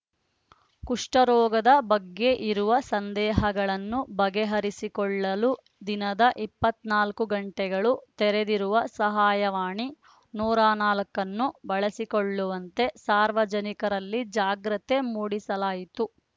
ಕುಷ್ಠರೋಗದ ಬಗ್ಗೆ ಇರುವ ಸಂದೇಹಗಳನ್ನು ಬಗೆಹರಿಸಿಕೊಳ್ಳಲು ದಿನದ ಇಪ್ಪತ್ನಾಲ್ಕು ಗಂಟೆಗಳು ತೆರೆದಿರುವ ಸಹಾಯವಾಣಿ ನೂರ ನಾಲ್ಕನ್ನು ಬಳಸಿಕೊಳ್ಳುವಂತೆ ಸಾರ್ವಜನಿಕರಲ್ಲಿ ಜಾಗ್ರತೆ ಮೂಡಿಸಲಾಯಿತು